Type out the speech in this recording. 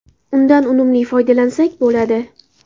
Undan unumli foydalansak bo‘ladi.